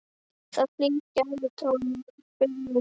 Það er hlýr gælutónn í bréfunum.